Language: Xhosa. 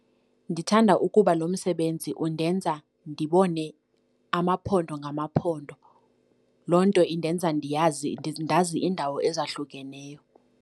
Ndithanda ukuba lo msebenzi undenza ndibone amaphondo ngamaphondo, loo nto indenza, ndiyazi, ndazi iindawo ezahlukeneyo.